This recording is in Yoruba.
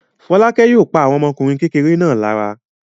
Fọ́lákẹ́ yóò pa àwọn ọmọkùnrin kékeré náà lára.